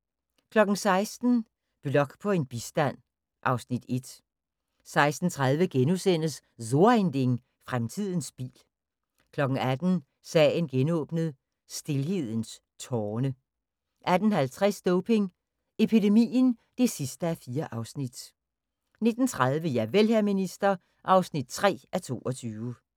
* 16:00: Blok på bistand (Afs. 1) 16:30: So ein Ding: Fremtiden bil * 18:00: Sagen genåbnet: Stilhedens tårne 18:50: Doping epidemien (4:4) 19:30: Javel, hr. minister (3:22)